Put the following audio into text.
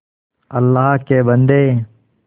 अल्लाह के बन्दे